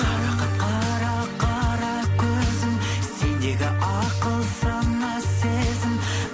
қарақат қара қара көзің сендегі ақыл сана сезім